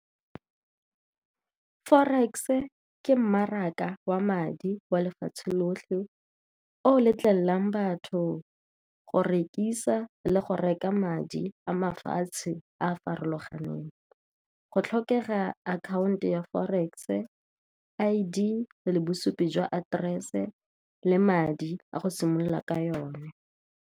Forex-e ke mmaraka wa madi wa lefatshe lotlhe, o letlelang batho go rekisa le go reka madi a mafatshe a a farologaneng. Go tlhokega account ya forex-e, I_D, le bosupi jwa aterese le madi a go simolola ka yone.